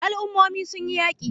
Al'ummomin sun yi yaki